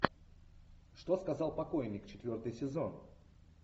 что сказал покойник четвертый сезон